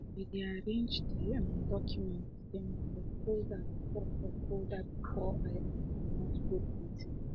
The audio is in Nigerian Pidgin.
i be arranged de um doucment dem for folder before for folder before i um comot go de meeting